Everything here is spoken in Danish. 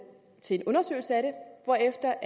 til en undersøgelse af det hvorefter